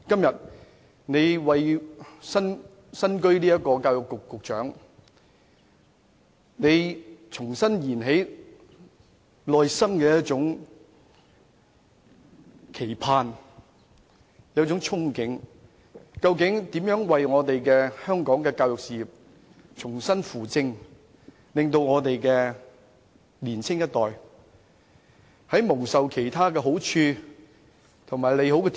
作為教育局局長，他重新燃起內心的期盼和憧憬，希望重新扶正香港的教育事業，好好培育年輕一代，培育他們成為人才，幫他們踏上正途。